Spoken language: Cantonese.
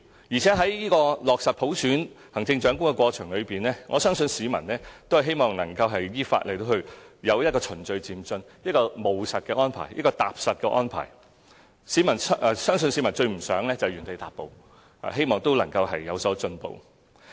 而且在落實普選行政長官的過程中，我相信市民均希望能夠有一個依法、循序漸進、務實和踏實的安排，相信市民最不希望原地踏步，而是希望有所進步。